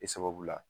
E sababu la